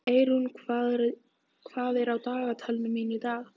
Eirún, hvað er á dagatalinu mínu í dag?